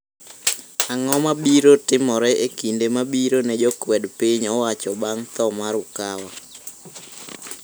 Ang'o mabiro timore e kinde mabiro ne jokwed piny owacho bang' 'tho' mar UKAWA?